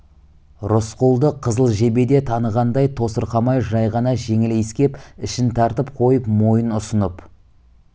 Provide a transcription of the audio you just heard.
рысқұлды қызыл жебе де танығандай тосырқамай жай ғана жеңіл иіскеп ішін тартып қойып мойын ұсынып